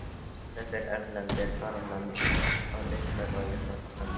Þetta eru erlendir ferðamenn að uppgötva í vaxandi mæli.